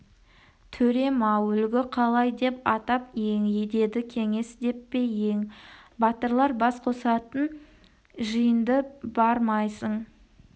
төрем-ау әлгі қалай деп атап ең деді кеңес деп пе ең батырлар бас қосатын жиынды бармайсың